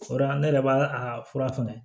O yɔrɔ ne yɛrɛ b'a a fura fɛnɛ